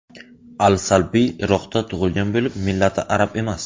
Al-Salbiy Iroqda tug‘ilgan bo‘lib, millati arab emas.